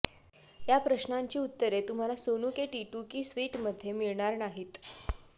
या प्रश्नांची उत्तरे तुम्हला सोनू के टिटु की स्विटमध्ये मिळणार नाहीत